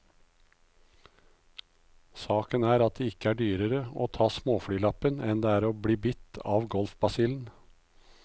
Saken er at det ikke er dyrere å ta småflylappen enn det er å bli bitt av golfbasillen.